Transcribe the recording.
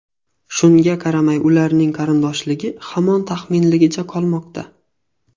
Shunga qaramay, ularning qarindoshligi hamon taxminligicha qolmoqda.